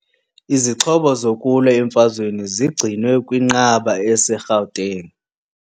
Izixhobo zokulwa emfazweni zigcinwe kwinqaba eseGauteng.